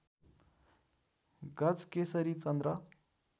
गजकेशरी चन्द्र